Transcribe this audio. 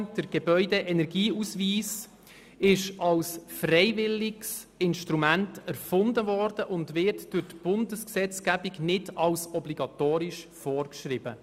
Der Gebäudeenergieausweis wurde als freiwilliges Instrument erfunden, und er wird von der Bundesgesetzgebung nicht als obligatorisch vorgeschrieben.